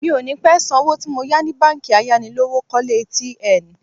Mi ò ní pẹ́ san owó tí mo yá ni báńkì ayánilówókọ́lé tn